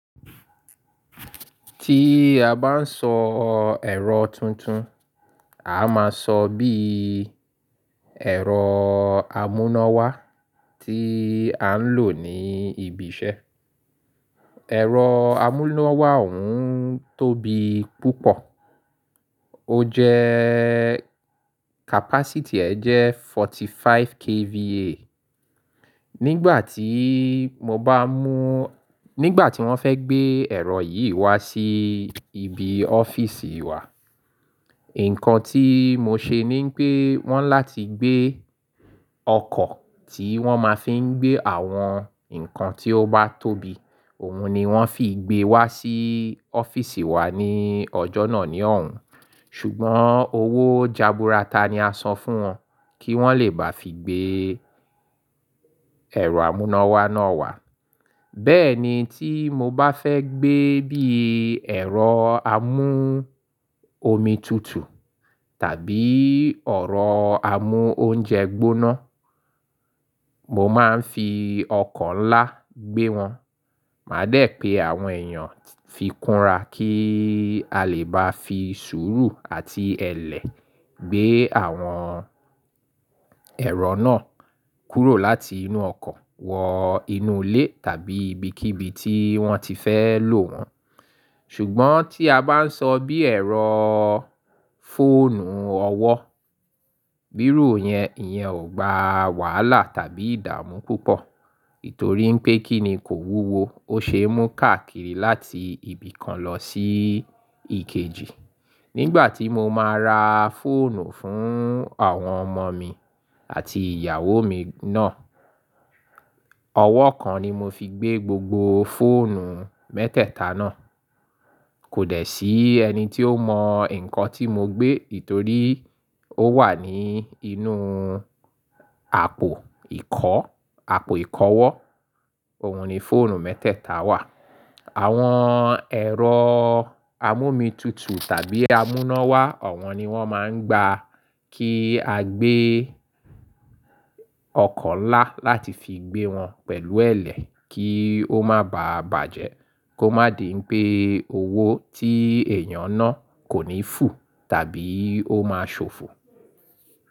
Tí a bá ń sọ ẹ̀rọ tuntun, a máa sọ bí ẹ̀rọ amúnáwá tí à ń lò ní ibi iṣẹ́. Ẹ̀rọ amúnáwá òún tóbi púpọ̀. O jẹ́ capacity rẹ̀ jẹ́ 45 KVA. Nígbà tí mo bá mú, nígbà tí wọ́n fẹ́ gbé ẹ̀rọ yìí wá sí ibi ọ́fíìsì wa, nǹkan tí mo ṣe ní pé wọ́n láti gbé ọkọ̀ tí wọ́n máa fi ń gbé àwọn nǹkan tí ó bá tóbi, òun ni wọ́n fi gbé wá sí ọ́fíìsì wa ní ọjọ́ náà ní òun. Ṣùgbọ́n owó jaburata ni a san fún wọn kí wọ́n lè bá fi gbé ẹ̀rọ amúnáwá náà wá. Bẹ́ẹ̀ ni tí mo bá fẹ́ gbé bí ẹ̀rọ amú omi tutu tàbí ọ̀rọ̀ amú oúnjẹ gbóná, mo máa ń fi ọkọ̀ ńlá gbé wọn. Màá dé pé àwọn èèyàn fi kúnra kí a lè bá fi sùúrù àti ẹlẹ gbé àwọn ẹ̀rọ náà kúrò láti inú ọkọ̀ wọ inú ilé tàbí ibikíbi tí wọ́n ti fẹ́ lò wọ́n. Ṣùgbọ́n tí a bá ń sọ bí ẹ̀rọ fóònù ọwọ́, bí irú yẹn, ìyẹn ò gba wàhálà tàbí ìdààmú púpọ̀. Ètòrí pé kíni kò wúwo, ó ṣe é mú káàkiri láti ibi kan lọ sí èkejì. Nígbà tí mo máa ra fóònù fún àwọn ọmọ mi àti ìyàwó mi náà, ọwọ́ kan ni mo fi gbé gbogbo fóònù mẹ́tẹ̀ẹ̀ta náà. Kò dẹ̀ sí ẹni tí ó mọ nǹkan tí mo gbé, ètòrí ó wà ní inú àpò ìkọ́, àpò ìkọwọ́. Òun ni fóònù mẹ́tẹ̀ẹ̀ta wà. Àwọn ẹ̀rọ amú omi tutu tàbí amúnáwá ọ̀wọ́n ni wọ́n máa ń gba kí a gbé ọkọ̀ ńlá láti fi gbé wọn pẹ̀lú ẹlẹ kí ó má bàa bàjẹ́, kó má di pé owó tí èèyàn náà kò ní fù tàbí ó máa ṣòfò.